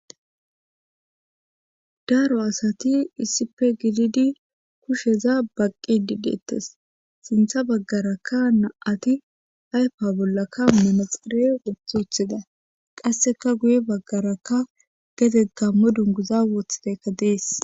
Daro asati issife gididi kusheza baqqi dideettes sintha baggaraka naati ayfa bollaka manaxire woththi woththida qasseka guye baggarakka geze gammo dunguza wooththidekka dees.